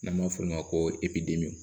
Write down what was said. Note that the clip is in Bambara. N'an b'a f'o ma ko epi dimi